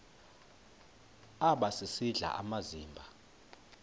aba sisidl amazimba